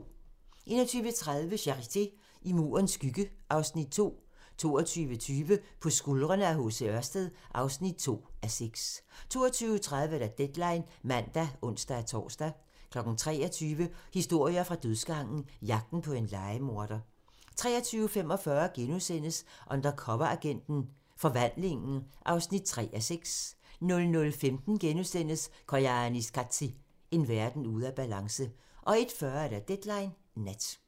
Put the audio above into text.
21:30: Charité - I Murens skygge (Afs. 2) 22:20: På skuldrene af H.C. Ørsted (2:6) 22:30: Deadline (man og tor-søn) 23:00: Historier fra dødsgangen - Jagten på en lejemorder 23:45: Undercoveragenten - Forvandlingen (3:6)* 00:15: Koyaanisqatsi – En verden ude af balance * 01:40: Deadline Nat